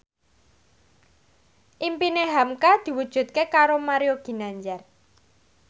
impine hamka diwujudke karo Mario Ginanjar